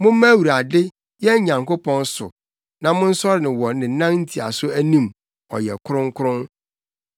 Momma Awurade, yɛn Nyankopɔn so na monsɔre no wɔ ne nan ntiaso anim; ɔyɛ ɔkronkron.